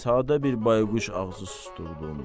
Sadə bir bayquş ağzı susdurduğum.